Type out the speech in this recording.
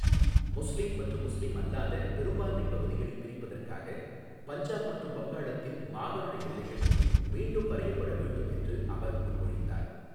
முஸ்லீம் மற்றும் முஸ்லிம் அல்லாத பெரும்பான்மை பகுதிகளைப் பிரிப்பதற்காக பஞ்சாப் மற்றும் வங்காளத்தின் மாகாண எல்லைகள் மீண்டும் வரையப்பட வேண்டும் என்று அவர் முன்மொழிந்தார்.